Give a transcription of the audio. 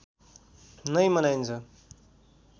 नै मनाइन्छ